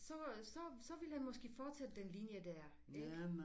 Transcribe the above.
Så så så ville han måske følge den linje der ikke